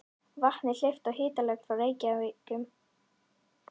Vatni hleypt á hitalögn frá Reykjum í Mosfellssveit.